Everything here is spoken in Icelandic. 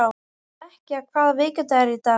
Snekkja, hvaða vikudagur er í dag?